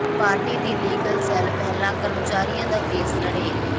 party ਦੀ legal cell ਪਹਿਲਾਂ ਕਰਮਚਾਰੀਆਂ ਦਾ ਕੇਸ ਲੜੇ